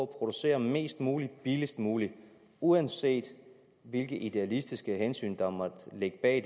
producere mest muligt billigst muligt uanset hvilke idealistiske hensyn der måtte ligge bag